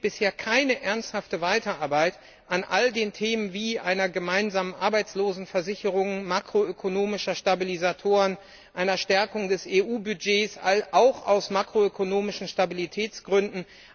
Es gibt bisher keine ernsthafte Weiterarbeit an all den Themen wie einer gemeinsamen Arbeitslosenversicherung, makroökonomischen Stabilisatoren, einer Stärkung des EU Budgets, auch aus makroökonomischen Stabilitätsgründen.